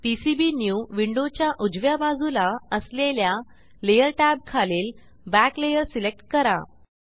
PCB new विंडोच्या उजव्या बाजूला असलेल्या लेयर टॅब खालील बॅक लेयर सिलेक्ट करा